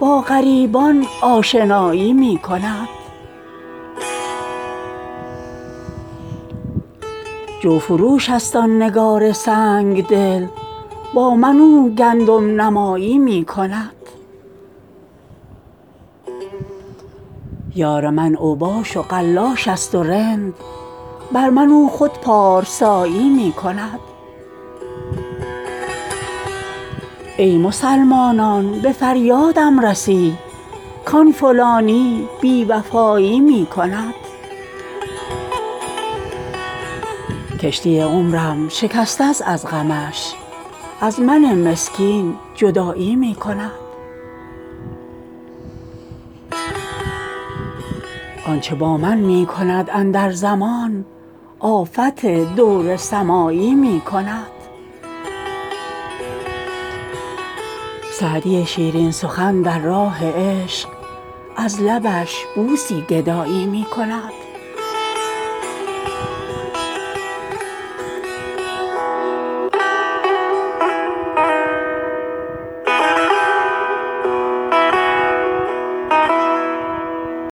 با غریبان آشنایی می کند جوفروش است آن نگار سنگ دل با من او گندم نمایی می کند یار من اوباش و قلاش است و رند بر من او خود پارسایی می کند ای مسلمانان به فریادم رسید کآن فلانی بی وفایی می کند کشتی عمرم شکسته است از غمش از من مسکین جدایی می کند آن چه با من می کند اندر زمان آفت دور سمایی می کند سعدی شیرین سخن در راه عشق از لبش بوسی گدایی می کند